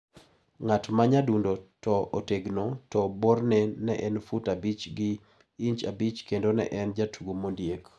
Ng`at ma nyadundo to otegno ka borne ne en fut abich gi inj abich kendo ne en jatugo mondiek.